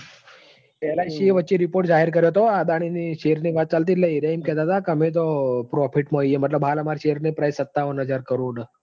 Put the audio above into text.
એટલે વચ્ચે ઈ report જાહેર કર્યો હતો. આ અદાણી ની share ની વાત ચાલતી હતી એટલે એરિયા એમ કેતા હતા કે અમે profit માં છીએ. એટલે અમે તો profit માં છીએ હાલ અમારા share ની price સત્તાવન હજાર કરોડ હ.